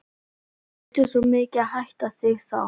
ég þurfti svo mikið að hitta þig þá.